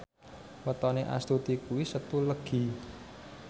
wetone Astuti kuwi Setu Legi